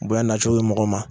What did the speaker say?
Bonya nacogo ye mɔgɔ ma